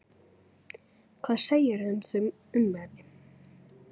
Hvað segirðu um þau ummæli?